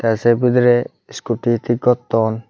tey sei bidirey scooty thik gotton.